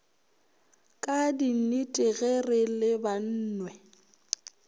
ka dinnete ge re lebanwe